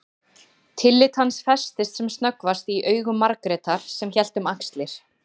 Tillit hans festist sem snöggvast í augum Margrétar sem hélt um axlir